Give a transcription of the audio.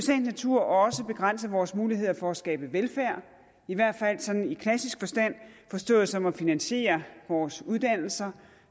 natur også begrænse vores muligheder for at skabe velfærd i hvert fald sådan i klassisk forstand forstået som at finansiere vores uddannelser